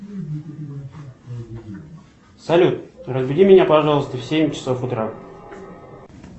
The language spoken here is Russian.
салют разбуди меня пожалуйста в семь часов утра